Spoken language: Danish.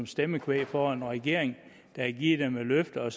stemmekvæg for en regering der har givet dem et løfte og